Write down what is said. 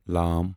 ل